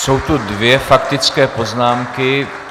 Jsou tu dvě faktické poznámky.